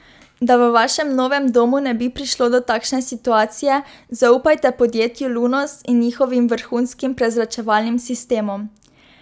Da v vašem novem domu ne bi prišlo do takšne situacije, zaupajte podjetju Lunos in njihovim vrhunskim prezračevalnim sistemom.